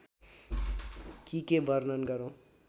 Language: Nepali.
कि के वर्णन गरौं